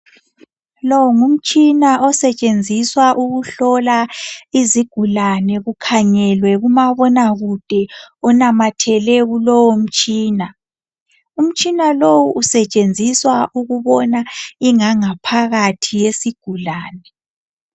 Lo ngumtshina osetshenziswa ukuhlola izigulane kukhangelwe kumabona kude onamathele kulowo mtshina. Umtshina lowu usetshenziswa ukubona ingangaphakathi yesigulane.